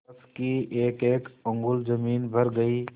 फर्श की एकएक अंगुल जमीन भर गयी